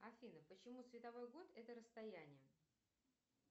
афина почему световой год это расстояние